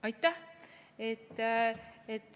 Aitäh!